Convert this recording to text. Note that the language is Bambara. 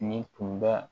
Nin tun bɛ